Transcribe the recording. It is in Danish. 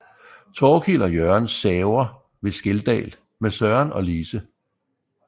Torkild og Jørgen saver ved Skeldal med Søren og Lise